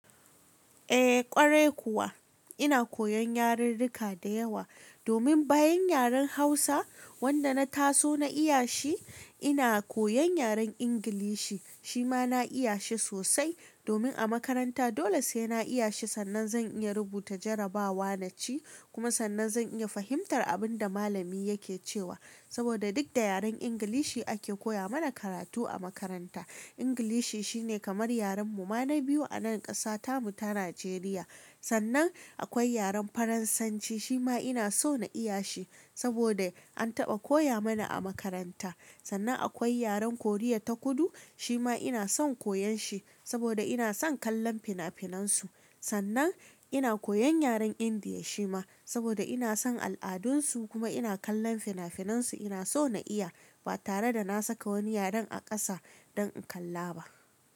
Eh ƙwarai kuwa ina koyan yarirrika da yawa domin bayan yaren Hausa wanda na taso na iya shi ina koyan yaren Ingilishi shi ma na iya shi sosai domin a makaranta dole sai na iya shi sannan zan iya rubuta jarabawa naci kuma sannan zan iya fahimtar abin da malami yake cewa saboda duk da yaren Ingilishi ake koya mana karatu a makaranta. Ingilishi shine kamar yaren mu ma na biyu a nan ƙasata mu ta Najeriya. Sannan akwai yaren Faransanci shi ma ina so na iya shi saboda an taɓa koya mana a makaranta. Sannan akwai yaren Koriya ta Kudu shi ma ina son koyan shi saboda ina son kallon fina-finan su. Sannan ina koyan yaren Indiya shi ma saboda ina son al'adun su kuma ina kallon fina-finan su ina so na iya ba tare da na saka wani yaren a ƙasa don in kalla ba.